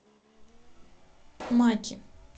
маки